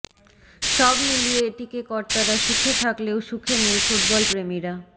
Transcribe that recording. সব মিলিয়ে এটিকে কর্তারা সুখে থাকলেও সুখে নেই ফুটবলপ্রেমীরা